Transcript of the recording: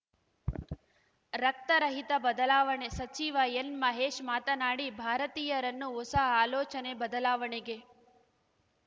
ರಕ್ತ ರಹಿತ ಬದಲಾವಣೆ ಸಚಿವ ಎನ್‌ಮಹೇಶ್‌ ಮಾತನಾಡಿ ಭಾರತೀಯರನ್ನು ಹೊಸ ಆಲೋಚನೆ ಬದಲಾವಣೆಗೆ